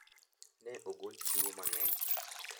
Ne ogol chiwo mang`eny.